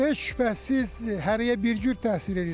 Heç şübhəsiz hərəyə bir cür təsir eləyir.